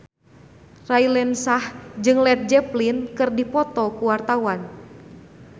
Raline Shah jeung Led Zeppelin keur dipoto ku wartawan